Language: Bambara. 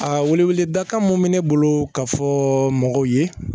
A wele dakan mun bɛ ne bolo ka fɔ mɔgɔw ye